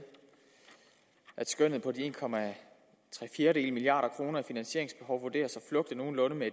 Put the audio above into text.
at skønnet på de en milliard kroner i finansieringsbehov vurderes at flugte nogenlunde med